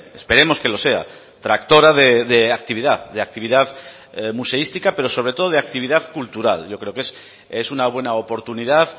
esperemos que lo sea tractora de actividad de actividad museística pero sobre todo de actividad cultural yo creo que es una buena oportunidad